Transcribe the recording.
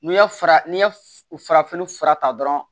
N'i ye fara n'i ye farafin fura ta dɔrɔn